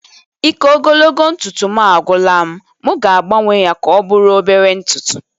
Ike ogologo ntutu m agwụla m, m ga-agbanwe ya ka ọ bụrụ obere ntutu